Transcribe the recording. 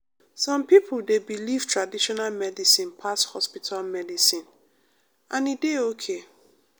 some pipo dey believe traditional medicine pass hospital medicine and e dey ok.